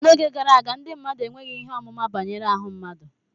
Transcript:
N'oge gara aga, ndị mmadụ enweghị ihe ọmụma banyere ahụ mmadụ